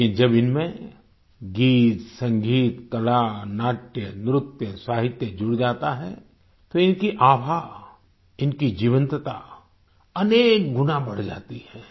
लेकिन जब इनमें गीतसंगीत कला नाट्यनृत्य साहित्य जुड़ जाता है तो इनकी आभा इनकी जीवंतता अनेक गुना बढ़ जाती है